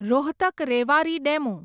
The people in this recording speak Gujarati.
રોહતક રેવારી ડેમુ